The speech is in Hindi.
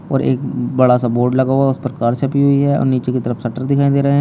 और एक बड़ा सा बोर्ड लगा हुआ उस पर कार छपी हुई है और नीचे की तरफ शटर दिखाई दे रहे हैं।